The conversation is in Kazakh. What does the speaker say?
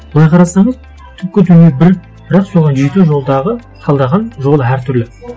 былай қарасаңыз түпкі түбірі бір бірақ соған жету жолдағы таңдаған жолдары әртүрлі